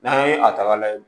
N'an ye a ta ka lajɛ